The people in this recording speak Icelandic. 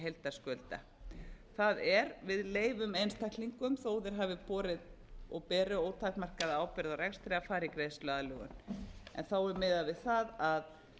heildarskulda það er við leyfum einstaklingum þó þeir hafi borið og beri ótakmarkaða ábyrgð á rekstri að fara í greiðsluaðlögun er miðað við það að